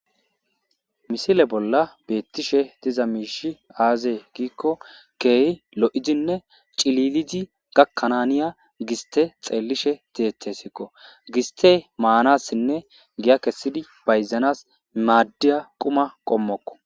misile bolla beettishe tiza miishi aazee giikko keehi lo7idinne cililizi gakkananiya giste xeellishe teethesikko giste maanassinne giya kessidi bayzanas maaddiya quma qommokko